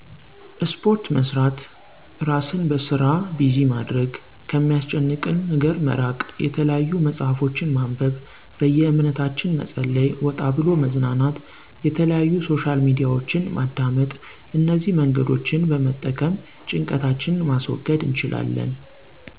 እስፖርት መሥራት፣ እራሥን በሥራ ቢዚማድረግ፣ ከሚያሥጨንቀን ነገረ መራቅ፣ የተለያዩ መጽሀፍቶችን ማንበብ፣ በየእምነታችን መጸለይ፣ ወጣብሎ መዝናናት፣ የተለያዩ ሶሻል ሚዲያወችን ማዳመጥ፣ እነዚህ መንገዶችን በመጠቀም ጭንቀታችን ማስገድ እንችላለን። እን